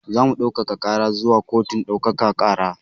Zamu ɗaukaka ƙara zuwa kotun ɗaukaka ƙara